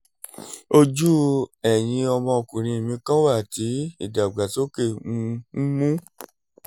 ojú ẹ̀yin ọmọkùnrin mi kan wà tí ìdàgbàsókè um ń mú